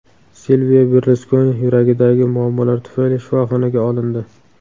Silvio Berluskoni yuragidagi muammolar tufayli shifoxonaga olindi.